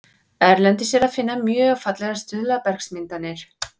Erlendis er að finna mjög fallegar stuðlabergsmyndanir.